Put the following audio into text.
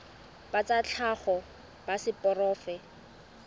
ba tsa tlhago ba seporofe